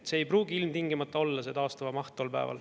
See ei pruugi ilmtingimata olla taastuva maht tol päeval.